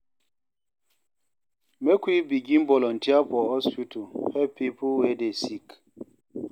Make we begin volunteer for hospital help pipo wey dey sick.